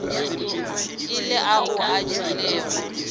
e le ao a tšwilego